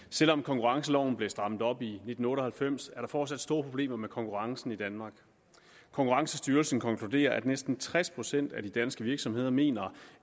selv om konkurrenceloven blev strammet op i nitten otte og halvfems er der fortsat store problemer med konkurrencen i danmark konkurrencestyrelsen konkluderer at næsten tres procent af de danske virksomheder mener